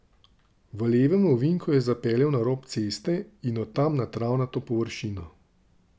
V levem ovinku je zapeljal na rob ceste in od tam na travnato površino.